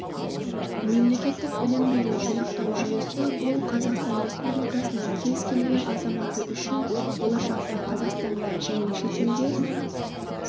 мемлекеттік білім беру жинақтау жүйесі бұл қазақстан республикасының кез келген азаматы үшін болашақта қазақстанда және шетелде